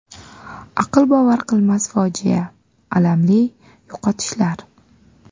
Aql bovar qilmas fojia, alamli yo‘qotishlar.